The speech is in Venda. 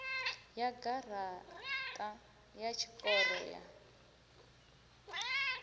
ya garaṱa ya tshikoro ya